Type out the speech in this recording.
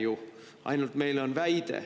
Ei näe ju, meil on ainult väide.